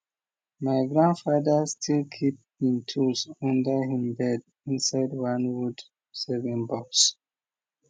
my grandfather still keep him tools under him bed inside one wood saving box